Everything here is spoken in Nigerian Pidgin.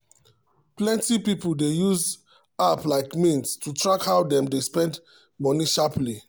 plenty people dey use app like mint to track how dem dey spend money sharply.